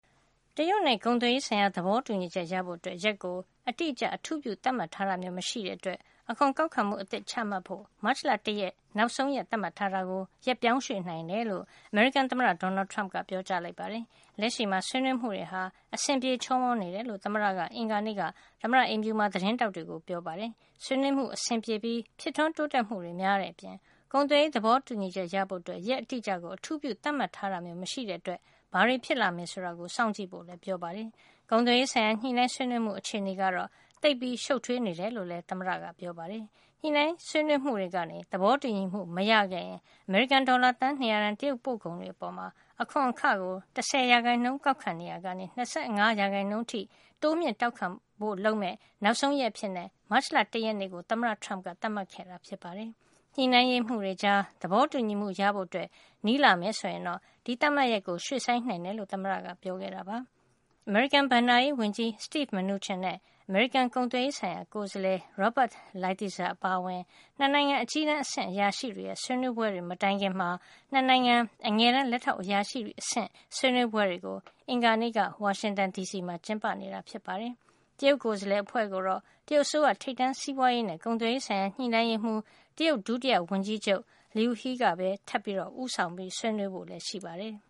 တရုတ်နဲ့ ကုန်သွယ်ရေး ဆိုင်ရာ သဘောတူညီချက်ရဖို့ ရက်ကို အတိအကျ အထူးပြု သတ်မှတ်ထားတာ မျိုး မရှိတဲ့အတွက် အခွန်ကောက်ခံမှု အသစ်ချမှတ်ဖို့ မတ်လ ၁ ရက်နေ့ နောက်ဆုံး သတ်မှတ်ထားတာကို ရက်ပြောင်းရွှေ့နိုင်တယ်လို့ အမေရိကန်သမ္မတ Donald Trump က ပြောပါတယ်။ လက်ရှိမှာ ဆွေးနွေးမှုတွေဟာ အဆင်ပြေနေတယ်လို့ သမ္မတက အင်္ဂါနေ့က သမ္မတအိမ်ဖြူမှာ သတင်းထောက်တွေကို ပြောပါတယ်။ ဆွေးနွေးမှုအဆင်ပြေပြီး ဖြစ်ထွန်းတိုးတက်မှုတွေက များတဲ့အပြင် ကုန်သွယ်ရေး သဘောတူညီချက်ရဖို့ ရက်အတိအကျကို အထူးပြု သတ်မှတ်ထားတာ မရှိတဲ့အတွက် ဘာတွေဖြစ်လာမယ်ဆိုတာ စောင့်ကြည့်ဖို့လည်း ပြောပါတယ်။ ကုန်သွယ်ရေးဆိုင်ရာ ညှိနှိုင်း ဆွေးနွေးမှု အခြေနေကတော့ သိပ်ရှုပ်ထွေးနေတယ်လို့လည်း သမ္မတက ပြောပါတယ်။ ဆွေးနွေးညှိနှိုင်းမှုတွေကနေ သဘောတူညီမှု မရခဲ့ရင် အမေရိကန်ဒေါ်လာ သန်း ၂၀၀ တန် တရုတ်ပို့ကုန်တွေ အပေါ် အခွန်အခကို ၁၀ ရာခိုင်နှုန်း ကောက်ခံနေရာကနေ ၂၅ရာခိုင်နှုန်း တိုးမြှင့် ကောက်ခံဖို့ လုပ်မယ့် နောက်ဆုံးရက်အဖြစ် မတ်လ ၁ ရက်နေ့ကို သမ္မတ Trump က သတ်မှတ်ခဲ့တာ ဖြစ်ပါတယ်။ ညှိနှိုင်းရေးမှူးတွေကြား သဘောတူညီမှု ရဖို့ နီးလာမယ်ဆိုရင်တော့ ဒီသတ်မှတ်ရက်ကို ရွှေ့ဆိုင်းနိုင်တယ်လို့ သမ္မတက ပြောခဲ့တာပါ။ အမေရိကန် ဘဏ္ဍာရေးဝန်ကြီး Steven Mnuchin နဲ့ အမေရိကန် ကုန်သွယ်ရေးဆိုင်ရာ ကိုယ်စားလှယ် Robert Lighthizer အပါအဝင် ၂ နိုင်ငံ အကြီးတန်းအဆင့် အရာရှိတွေရဲ့ ဆွေးနွေးပွဲတွေ မတိုင်ခင် ၂ နိုင်ငံ အငယ်တန်းလက်ထောက်အရာရှိ အဆင့် ဆွေးနွေးပွဲတွေကို အင်္ဂါနေ့က ဝါရှင်တန်ဒီစီမှာ ကျင်းပနေတာပါ။ တရုတ်ကိုယ်စားလှယ်အဖွဲ့ကို တရုတ်အစိုးရ ထိပ်တန်းစီးပွါးရေးနဲ့ ကုန်သွယ်ရေးဆိုင်ရာ ညှိနှိုင်းရေးမှူး တရုတ်ဒုတိယဝန်ကြီးချုပ် Liu He ကပဲ ထပ်ပြီး ဦးဆောင် ဆွေးနွေးဖို့ရှိပါတယ်။